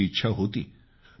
करण्याची इच्छा होती